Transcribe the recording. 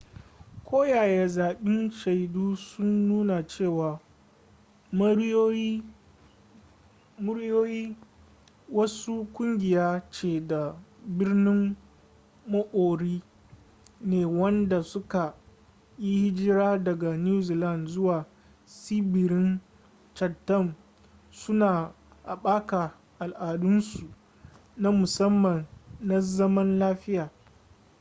koyaya sabbin shaidu sun nuna cewa moriori wasu kungiya ce ta birnin maori ne wanda suka yi hijira daga new zealand zuwa tsibirin chatham suna haɓaka al'adunsu na musamman na zaman lafiya